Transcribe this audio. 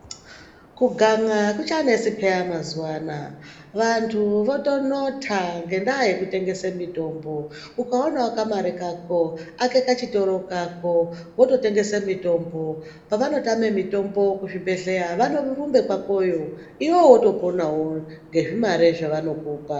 Kugan'a akuchanesi peyani mazuwa ano. Vantu votonota ngekutengese mitombo. Ukaonawo kamare kako ake kachitoro kako wotengese mitombo. Pavanotama mishonga kuzvibhedhlera votorumba kwako iwewe wotoponawo ngezvimare zvavanokupa.